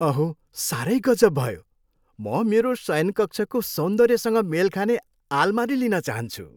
अहो! साह्रै गजब भयो। म मेरो शयनकक्षको सौन्दर्यसँग मेल खाने आलमारी लिन चाहन्छु।